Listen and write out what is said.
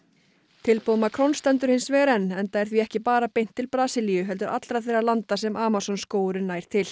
tilboð Macrons stendur hins vegar enn enda er því ekki bara beint til Brasilíu heldur allra þeirra landa sem Amazon skógurinn nær til